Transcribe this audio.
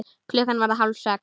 Klukkan varð hálf sex.